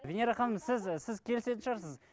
венера ханым сіз сіз келісетін шығарсыз